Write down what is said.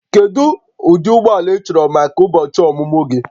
Kedu ụdị ụgbọ ala ị chọrọ maka ụbọchị ọmụmụ gị?